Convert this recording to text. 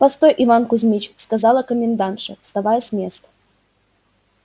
постой иван кузьмич сказала комендантша вставая с места